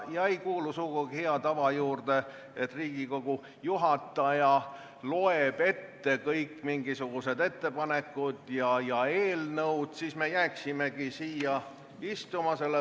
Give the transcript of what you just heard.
Ja ei kuulu sugugi hea tava juurde, et Riigikogu juhataja loeb ette kõik ettepanekud ja eelnõud – siis me jääksimegi siia istuma.